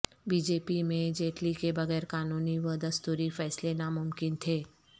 be J P میں جیٹلی کے بغیر قانونی و دستوری فیصلے ناممکن تھے